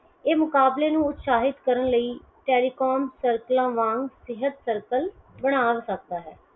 ਇਹ ਮੁਕਬਾਲੇ ਨੂੰ ਉਤਸ਼ਾਹਿਤ ਕਰਨ ਲਈ Telecom circles ਵਾਂਗ ਸਿਹਤ Circle ਬਣਾ ਸਕਦਾ ਹੈ।